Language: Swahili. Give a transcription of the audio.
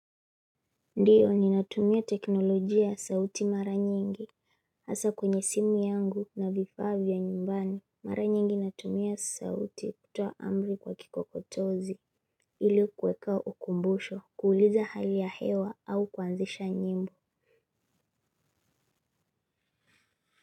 Ndiyo ninatumia teknolojia ya sauti mara nyingi hasa kwenye simu yangu na vifaa vya nyumbani. Mara nyingi natumia sauti kutoa amri kwa kikokotozi. Hili kweka ukumbusho kuuliza hali ya hewa au kwanzisha nyimbo.